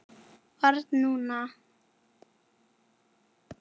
Barn núna.